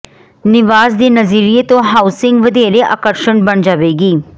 ਨਿਵਾਸ ਦੇ ਨਜ਼ਰੀਏ ਤੋਂ ਹਾਊਸਿੰਗ ਵਧੇਰੇ ਆਕਰਸ਼ਕ ਬਣ ਜਾਵੇਗੀ